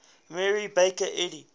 mary baker eddy